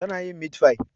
Tana yin mitfai